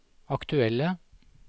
aktuelle